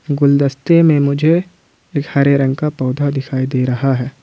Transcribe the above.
गुलदस्ते में मुझे एक हरे रंग का पौधा दिखाई दे रहा है।